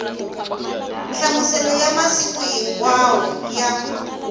nhlamuselo ya masiku hinkwawo ya